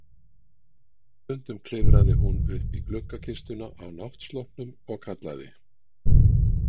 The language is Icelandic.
Stundum klifraði hún upp í gluggakistuna á náttsloppnum og kallaði